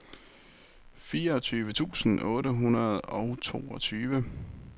fireogtyve tusind otte hundrede og toogtyve